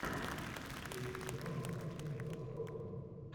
включи киношку по типу катастрофы